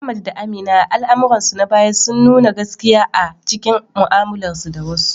Ahmad da Amina, a al’amuransu na baya, suna nuna gaskiya a cikin mu’amalarsu da wasu.